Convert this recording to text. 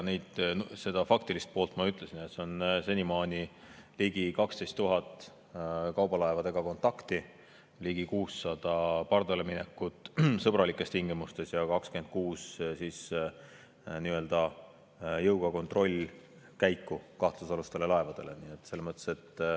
Selle faktilise poole kohta ma ütlesin, et senimaani on olnud ligi 12 000 kontakti kaubalaevadega, ligi 600 pardaleminekut sõbralikes tingimustes ja 26 nii-öelda jõuga kontrollkäiku kahtlusalustele laevadele.